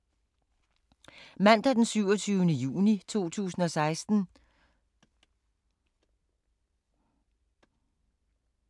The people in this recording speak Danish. Mandag d. 27. juni 2016